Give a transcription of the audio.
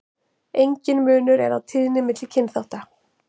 Enginn munur er á tíðni milli kynþátta.